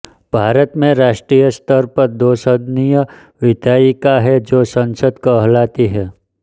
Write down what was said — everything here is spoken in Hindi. भारत में राष्ट्रीय स्तर पर दोसदनीय विधायिका है जो संसद कहलाती है